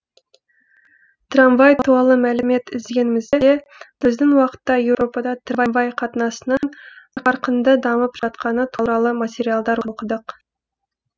трамвай туалы мәлімет іздегенімізде біздің уақытта еуропада трамвай қатынасының қарқынды дамып жатқаны туралы материалдар оқыдық